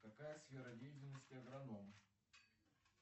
какая сфера деятельности агроном